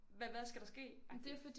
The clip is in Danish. Hvad hvad skal der ske agtigt?